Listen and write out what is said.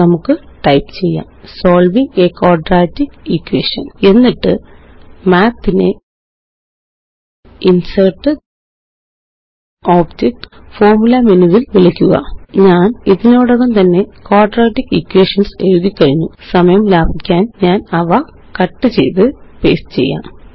നമുക്ക് ടൈപ്പ് ചെയ്യാം solving a quadratic equation എന്നിട്ട്Math നെInsertgtObjectgtFormula മേനു ല് വിളിക്കുക ഞാന് ഇതിനോടകം തന്നെ ക്വാഡ്രാറ്റിക് ഇക്വേഷൻസ് എഴുതിക്കഴിഞ്ഞു സമയം ലാഭിക്കാന് ഞാനവ കട്ട് ചെയ്ത് പേസ്റ്റ് ചെയ്യാം